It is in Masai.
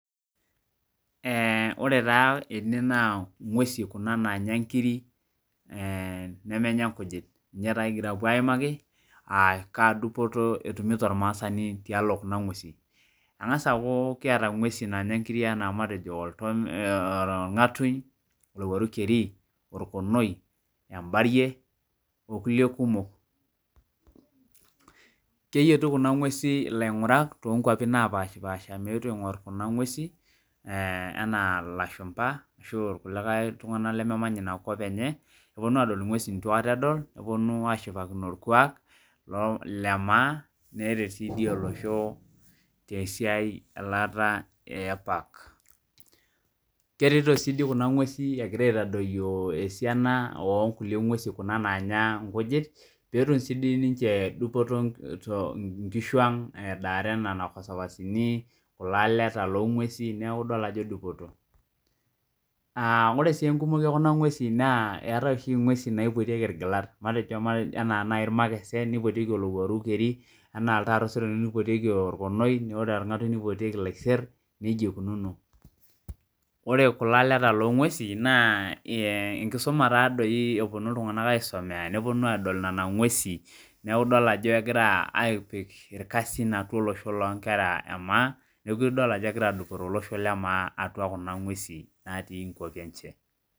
Ore taa ene naa ing'uwesi kuna naanya inkirik nemenya inkujit nichee taa kipoito aimaki aa kaa dupoto etumito ormaasani tialo kuna ng'uwesin, eng'asa aaku kiata ing'uwesin naanya inkirik anaa matejo olng'atuny ,olowuaru kerii, orkonoi ,embarie oo kulie kumok, keyietu Kuna ng'uwesin ilaing'urak toonkwapin naapashi paasha meetu aing'orr kuna ng'uesin enaa ilashumpa ashuu ilkulikae tung'anak lememanya ina kop enye neponu adol ing'uesin neitu aikata edol, neponu ashipakino orkwak lee maa neretii dii oloshi tesiai elaata ee park kereti sii dii kuna ng'uesin egira aitadoyioo esiana oo nkule ng'uesin kuna naanya inkujit peetum sii dii sinche dupoto tonkishuang' edaare nena sapasini ,ilaleta loo ng'uesin neeku idol ajo dupoto ,naa ore sii enkumoyu oo kuna ng'uesin naa eetae oshii ing'wesin naipotieki irgilat matejo enaa nai irmakesen neipotieki olowuarru keri, anaa iltaarro osero neipotieki orkoni, ore orng'atuny neipotieki ilaiser nejia eikununo ore kulo aleta loo ng'uesin naa enkisuma taa dooii eponu iltung'anak aisomea, neponu aadol nena ng'uesi neeku idol ajo kegira ipik irkasin atua olosho loo inkera emaa, neeku idol ajo kegira adupore tolosho lemaa atua kuna ng'uesi naati atua inkwapi enye.